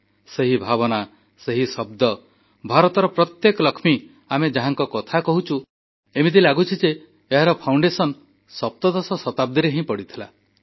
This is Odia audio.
ସେହି ଭାବନା ସେହି ଶବ୍ଦ ଭାରତର ପ୍ରତ୍ୟେକ ଲକ୍ଷ୍ମୀ ଆମେ ଯାହାଙ୍କ କଥା କହୁଛୁ ଏମିତି ଲାଗୁଛି ଯେ ଏହାର ମୂଳଦୁଆ ସପ୍ତଦଶ ଶତାବ୍ଦୀରେ ହିଁ ପଡ଼ିଥିଲା